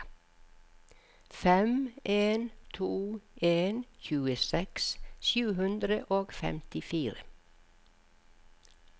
fem en to en tjueseks sju hundre og femtifire